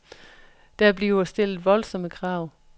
Der bliver stillet voldsomme krav.